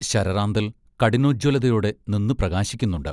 ശരറാന്തൽ കഠിനോജ്ജ്വലതയോടെ നിന്ന് പ്രകാശിക്കുന്നുണ്ട്.